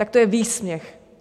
Tak to je výsměch!